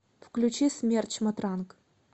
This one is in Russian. включи смерч матранг